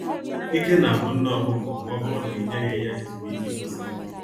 Ike na agwụ nne ọkụkọ ma ọbụrụ na i nyeghị ya ezumiike kwesịrịnụ